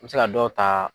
N bɛ se ka dɔw ta